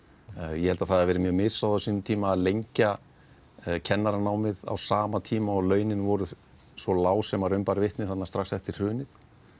ég held að það hafi verið mjög misráðið á sínum tíma að lengja kennaranámið á sama tíma og launin voru svo lág sem raun bar vitni strax eftir hrunið